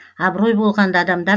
абырой болғанда адамдар